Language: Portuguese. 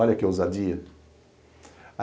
Olha que ousadia.